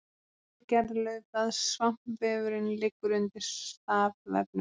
Innri gerð laufblaðs Svampvefurinn liggur undir stafvefnum.